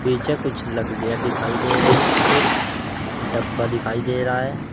पीछे कुछ लकड़िया दिखाई दे रही है एक डब्बा दिखाई दे रहा है।